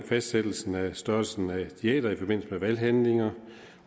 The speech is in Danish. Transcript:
fastsættelsen af størrelsen af diæter i forbindelse med valghandlinger